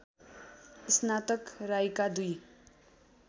स्नातक राईका दुई